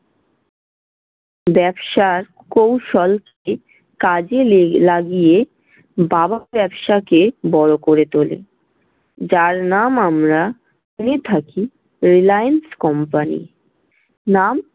ব্যবসার কৌশল তিনি কাজে লেগে~ লাগিয়ে বাবার ব্যবসাকে বড় করে তুলেন। যার নাম আমরা জেনে থাকি রিলায়েন্স company নাম-